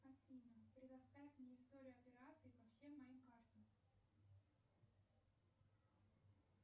афина предоставь мне историю операций по всем моим картам